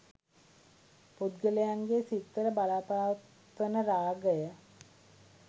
පුද්ගලයන්ගේ සිත්වල බලපවත්වන රාගය,